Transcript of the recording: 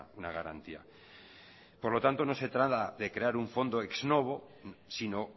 una garantía por lo tanto no se trata de crear un fondo ex novo sino